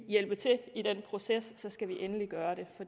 hjælpe til i den proces skal vi endelig gøre